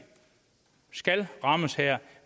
skal rammes